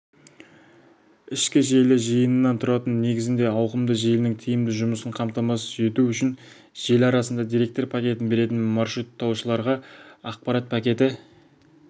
ішкі желі жиынынан тұратын негізіндегі ауқымды желінің тиімді жұмысын қамтамасыз ету үшін желі арасында деректер пакетін беретін маршруттаушыларға ақпарат пакеті